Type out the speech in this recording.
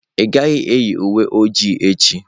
Ị gaghị eyi uwe oji echi.